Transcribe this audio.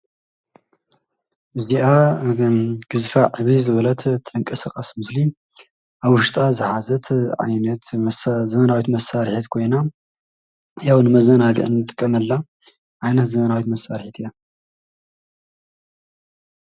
እዚኣ ግዝፋ ዕብይ ዝበለት እትንቀሳቀስ ምስሊ ኣብ ውሽጣ ዝሓዘት ዓይነት ዘበናዊት መሳርሒት ኮይና ያው ንመዘናግዒ እንጥቀመላ ዓይነት ዘበናዊት መሳርሒት እያ፡፡